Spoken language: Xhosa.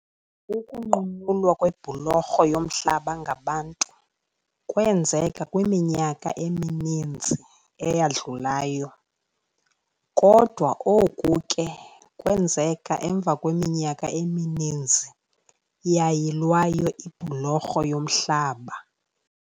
Ukunqunyulwa kwebhulorho yomhlaba ngabantu kwenzeka kwiminyaka emininzi eyadlulayo kodwa oku ke kwenzeka emva kweminyaka emininzi yayilwayo ibhulorho yomhlaba.